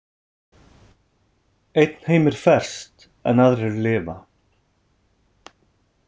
Einn heimur ferst en aðrir lifa.